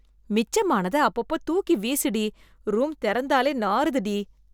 மிச்சம் ஆனத அப்பப்போ தூக்கி வீசு டீ , ரூம் தெறந்தாலே நாறுது டீ.